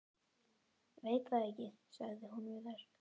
Veit það ekki sagði hún við þær.